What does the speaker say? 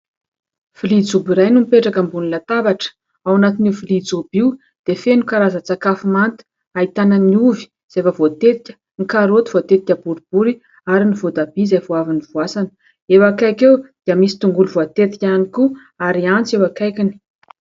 Vilia jobo iray no mipetraka ambony latabatra. Ao anatin'io vilia jobo io dia feno karazan-tsakafo manta. Ahitana ny ovy izay efa voatetika, ny karaoty voatetika boribory ary ny voatabia izay vao avy novoasana. Eo akaiky eo dia misy tongolo voatetika ihany koa ary antsy eo akaikiny.